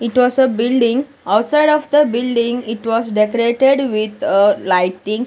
it was a building outside of the building it was decorated with a lighting.